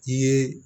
I ye